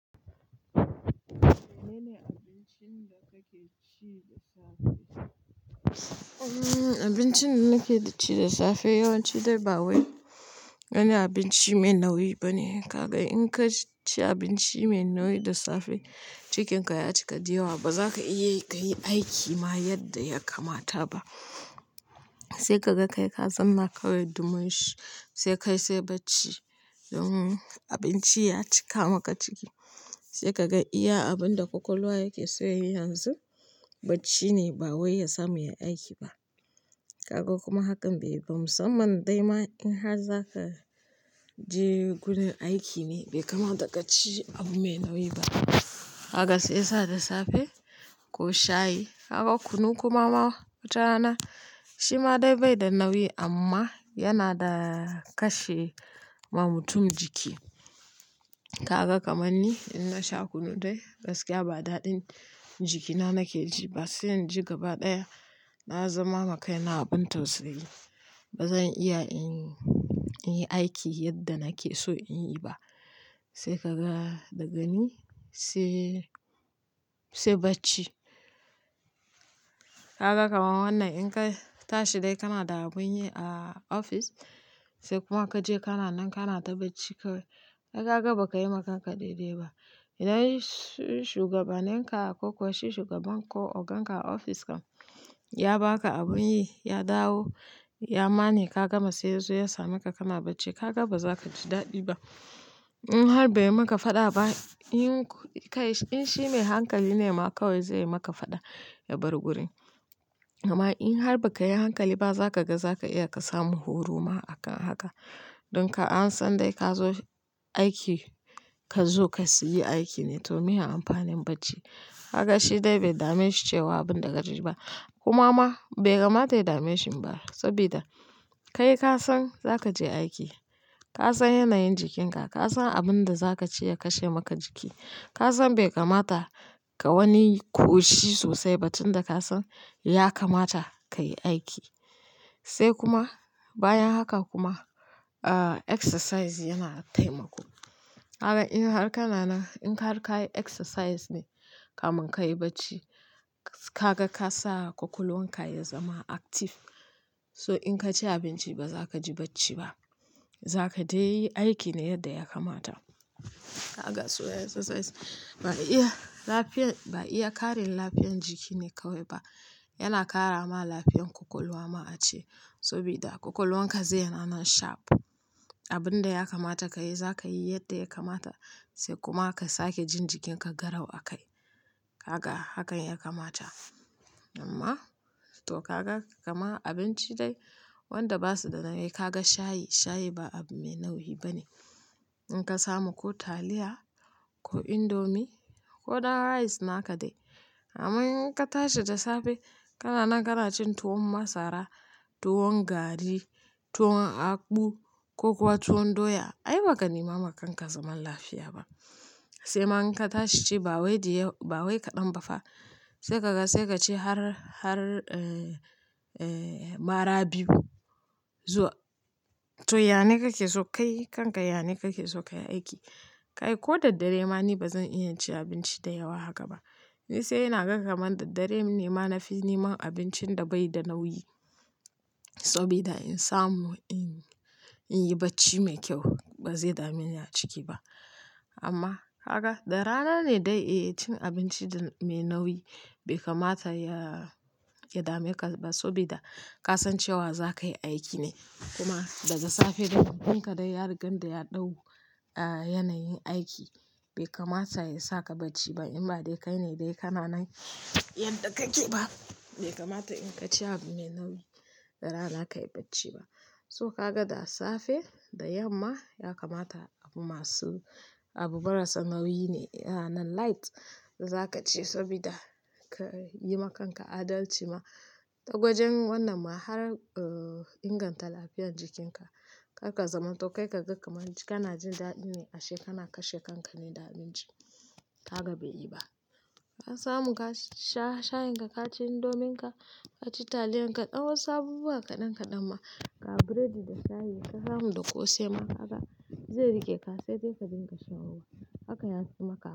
Menene abincin da kake ci da safe? Abincin da nake ci da safe yawanci dai ba wani abinci mai nauyi bane. In ka ci abinci mai nauyi da safe, jikinka ya cika dayawa, ba za ka iya aiki ma yadda ya kamata ba. Sai ka ga kai ka zama kawai dumushi, sai kai bai ci abinci ya cika maka ciki, sai ka ga iya abin da kwakwalwa yake so yayi yanzu, bacci ne, ba waiya samu ya aiki ba. Kaga kuma hakan bai ba musamman dai ma in har za ka je gurin aiki ne, bai kamata ka ci abu mai nauyi ba. Kaga sai yasa da safe ko shayi, kunu kuma wata rana shi ma dai bai da nauyi amma yana da kashe ma mutum jiki. Kaga kamar ni in na sha kunu dai gaskiya ba daɗin jikina nake ji ba, sai in ji gaba ɗaya na zama makai na abin tausayi. Ba zan iya in yi aiki yadda nake so in yi ba. Sai ka ga daga ni sai bacci. Kaga kamar wannan in ka tashi dai kana da abin yi a ofis sai kuma ka je kana nan kana ta bacci kawai. Kai gaba ba ka yi wa kanka daidai ba. Idan shugabanenka kokuwa shi shugaban ko ogan ka a ofis ya ba ka abin yi, ya dawo, ya ma ne ka gama sai yanzu ya sameka kana bacci. Ka ga ba za ka ji daɗi ba. In har bai yi maka fada ba, in shi mai hankali ne ma kawai zai yi maka fada ya bar gurin. Amma in har ba ka yi hankali ba za ka ga za ka iya ka samu horo ma a kan haka. Don ka an san dai ka zo aiki ka zo ka yi aiki ne to me amfanin bacci. Gaka shi dai bai dame shi cewa abin da ka ji ba. Kuma ma bai kamata ya dame shi ba saboda kai ka san za ka je aiki. Ka san yanayin jikinka, ka san abin da za ka ci ya kashe maka jiki. Ka san bai kamata ka wani ƙoshi sosai ba tun da ka san ya kamata ka yi aiki. Sai kuma bayan haka kuma ah exercise yana taimako. Gaka in har kana nan in har ka yi exercise ne kamin ka yi bacci, ka ga ka sa kwakwalwanka ya zama active. So in ka ci abinci ba za ka ji bacci ba. Za ka dai yi aiki ne yadda ya kamata. Kaga so iyi ya exercise ba iya lafiyar, ba iya ƙarin lafiyar jiki ne kawai ba. Yana ƙara ma lafiyar kwakwalwa ma a ce. Saboda kwakwalwanka zai yana nan sharp. Abin da ya kamata ka yi za ka yi yadda ya kamata sai kuma ka sake jin jikinka garau a kai. Haka hakan ya kamata. Amma to ka ga kamar abinci dai wanda ba su da nauyi, ka ga shayi, shayi ba abu mai nauyi bane. In ka samu ko taliya ko indomi ko na rice naka dai. Amma in ka tashi da safe kana nan kana cin tuwon masara, tuwon gari, tuwon akpu ko kuwa tuwon doya, ai ba ka nema wa kanka zaman lafiya ba. Sai ma in ka tashi ci bawai diyawa, bawai kaɗan ba fa. Sai ka ga sai ka ci har, har eh, eh, mara biyu zuwa. To, yane kake so kayi kanka yane kake so ka yi aiki. Kai ko da dare ma ni ba zan iya cin abinci da yawa haka ba. Ni sai ina ga kamar da dare ne ma na fi neman abincin da bai da nauyi. Saboda in samu in, in yi bacci mai kyau ba zai dame ni a ciki ba. Amma kaga da rana ne dai eh cin abinci mai nauyi bai kamata ya, ya dame ka ba saboda ka san cewa za ka yi aiki ne. Kuma daga safe da mutum ka dai ya rigan da ya ɗau a, yanayin aiki bai kamata ya saka bacci ba. In ba dai kai ne dai kana nan yadda kake ba. Bai kamata in ka ci abu mai nauyi da rana ka yi bacci ba. So ka ga da safe da yamma ya kamata abu masu, abu marasa nauyi ne yana nan light za ka ci saboda ka yi wa kanka adalci ma. Da wajen wannan ma har inganta lafiyar jikinka. Zaka zaman to kai ka ga kamar abinci kana jin daɗi ne ashe kana kashe kanka ne da abinci. Haka bai yi ba. Ka samu ka sha, shayin ka, ka ci indomin ka, ka ci taliyan ka, ɗan wasu abubuwa kaɗan kaɗan ma, ga buredi da shayi ka samu da ƙosai ma kaga zai riƙe ka sai dai ka dinga shan ruwa. Haka ya fi maka.